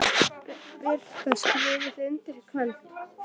Birta: Skrifið þið undir í kvöld?